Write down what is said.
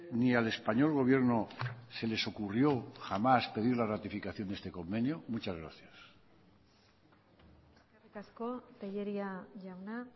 ni al español gobierno se les ocurrió jamás pedir la ratificación de este convenio muchas gracias eskerrik asko tellería jauna